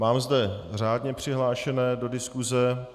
Mám zde řádně přihlášené do diskuse.